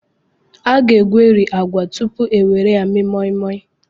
A ga-egweri agwa tupu e were ya mee moi-moi.